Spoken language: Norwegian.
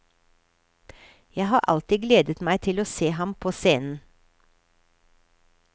Jeg har alltid gledet meg til å se ham på scenen.